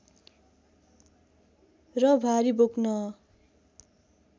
र भारी बोक्न